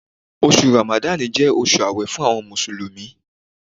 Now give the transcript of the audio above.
Oṣù Ramadan jẹ́ oṣù àwẹ̀ fún àwọn Mùsùlùmí.